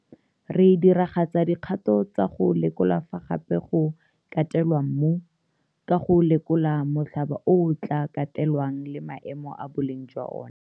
Re diragatsa dikgato tsa go lekola fa gape go katelwa mmu, ka go lekola molhaba o o tla katelwang le maemo a boleng jwa ona.